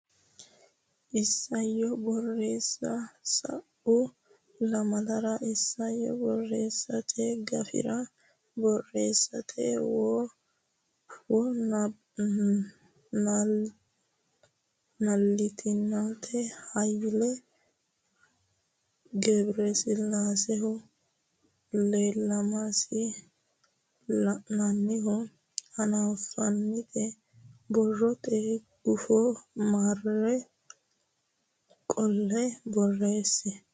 Isayyo Borreessa Sa u lamalara isayyo borreessate gafira borreessate wo naaltinita Hayle Gebresillaasehu Ilamishsha lainohunni hanaffinita borrote guffa marro qoltine borreesse.